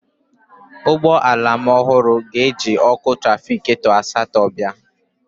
Ụgbọ ala ọhụrụ m ga-eji ọkụ trafịgatọ asatọ bịa